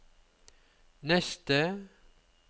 neste